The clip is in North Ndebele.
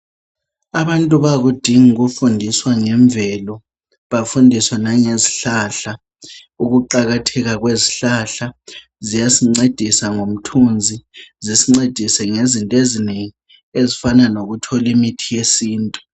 Abantu bayakudinga ukufundiswa ngemvelo bafundiswe ngezihlahla, ukuqakatheka kwezihlahla. Ziyasincedisa ngomthunzi, zisincedise ngezinto ezinengi ezifana nokuthola imithi yesintu.